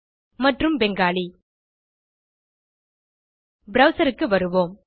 மற்றும் பெங்காலி browserக்கு வருவோம்